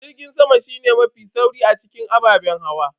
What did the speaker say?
Jirgin sama shine mafi sauri a cikin ababen hawa.